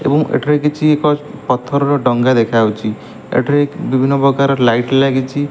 ଏବଂ ଏଥିରେ କିଛି ଏକ ପଥରର ଡ଼ଙ୍ଗା ଦେଖାଯାଉଚି ଏଥିରେ ବିଭିନ୍ନପ୍ରକାର ଲାଇଟ ଲାଗିଛି।